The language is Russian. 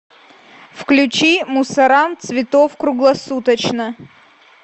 включи мусорам цветов круглосуточно